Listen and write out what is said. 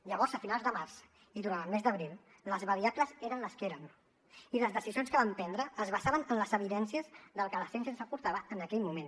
llavors a finals de març i durant el mes d’abril les variables eren les que eren i les decisions que vam prendre es basaven en les evidències del que la ciència ens aportava en aquell moment